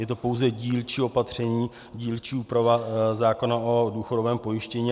Je to pouze dílčí opatření, dílčí úprava zákona o důchodovém pojištění.